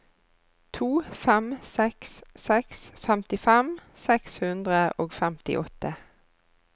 to fem seks seks femtifem seks hundre og femtiåtte